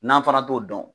N'an fana t'o dɔn